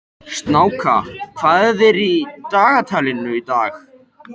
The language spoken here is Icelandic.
Snjáka, hvað er í dagatalinu í dag?